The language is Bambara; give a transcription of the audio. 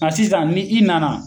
Nga sisan ni i na na